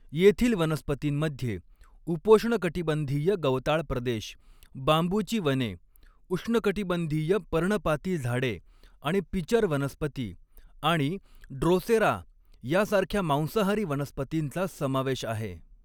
येथील वनस्पतींमध्ये उपोष्णकटिबंधीय गवताळ प्रदेश, बांबूची वने, उष्णकटिबंधीय पर्णपाती झाडे आणि पिचर वनस्पती आणि ड्रोसेरा यासारख्या मांसाहारी वनस्पतींचा समावेश आहे.